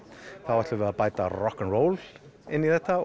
ætlum við að bæta við rokk og róli inn í þetta